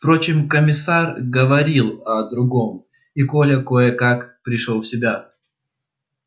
впрочем комиссар говорил о другом и коля кое-как пришёл в себя